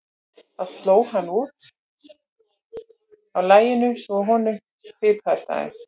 Það sló hann út af laginu svo að honum fipaðist aðeins.